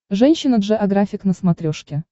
женщина джеографик на смотрешке